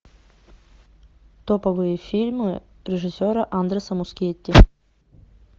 топовые фильмы режиссера андреса мускетти